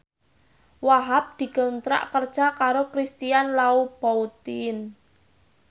Wahhab dikontrak kerja karo Christian Louboutin